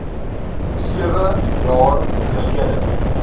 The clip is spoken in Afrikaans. sewe jaar gelede